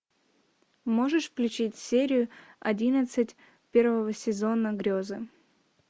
можешь включить серию одиннадцать первого сезона грезы